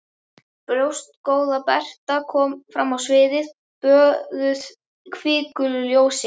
Brjóstgóða Berta kom fram á sviðið, böðuð hvikulu ljósi.